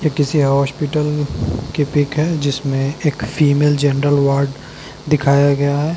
ये किसी हॉस्पिटल की पिक है जिसमें एक फीमेल जनरल वार्ड दिखाया गया है।